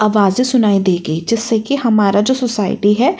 आवाज सुनाई देगी जिससे कि हमारा जो सोसाइटी है --